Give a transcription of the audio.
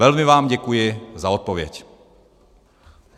Velmi vám děkuji za odpověď.